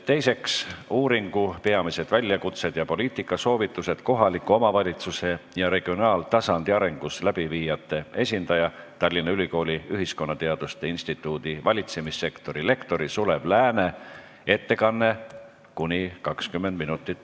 Teiseks, uuringu "Peamised väljakutsed ja poliitikasoovitused kohaliku omavalitsuse ja regionaaltasandi arengus" läbiviijate esindaja, Tallinna Ülikooli ühiskonnateaduste instituudi valitsemiskorralduse lektori, MTÜ Polis asepresidendi Sulev Lääne ettekanne kuni 20 minutit.